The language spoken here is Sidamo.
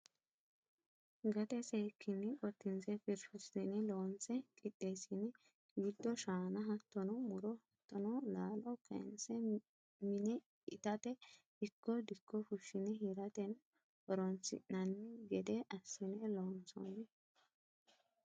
Gate seekkine qotinse firfirsine loonse qixeesine giddo shaana hattono muro hattono laalo kayinse mine ittate ikko dikko fushine hirateno horonsi'nanni gede assine loonsonni.